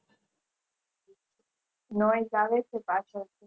આવે છે પાછળ